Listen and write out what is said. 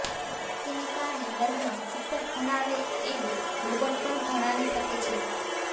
તેને કારણે વર્ગમાં શિક્ષક ભણાવે એમ રોબોટ પણ ભણાવી શકે છે